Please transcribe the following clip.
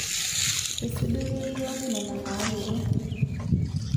Eisudorie yiook nena naayiolo